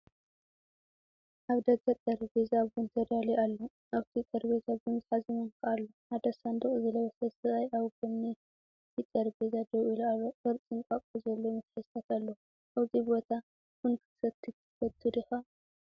ኣብ ደገ ጠረጴዛ ቡን ተዳልዩ ኣሎ። ኣብቲ ጠረጴዛ ቡን ዝሓዘ ማንካ ኣሎ፣ ሓደ ሳንዱቕ ዝለበሰ ሰብኣይ ኣብ ጎኒ እቲ ጠረጴዛ ደው ኢሉ ኣሎ። ቅርጺ እንቋቑሖ ዘለዎም መትሓዚታት ኣለዉ። ኣብዚ ቦታ ቡን ክትሰቲ ትፈቱ ዲኻ? ☕